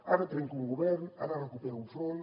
ara trenca un govern ara recupera un front